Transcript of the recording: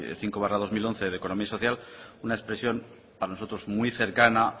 cinco barra dos mil once de economía social es una expresión para nosotros muy cercana